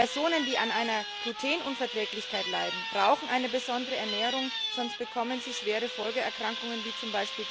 Personen, die an einer Glutenunverträglichkeit leiden, brauchen eine besondere Ernährung, sonst bekommen sie schwere Folgeerkrankungen wie z.